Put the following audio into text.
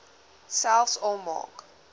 selfs al maak